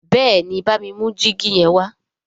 béèni bámi mú jìgì yen wá